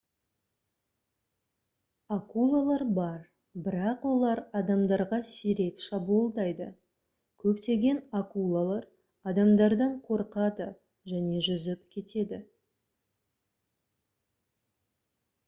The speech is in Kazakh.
акулалар бар бірақ олар адамдарға сирек шабуылдайды көптеген акулалар адамдардан қорқады және жүзіп кетеді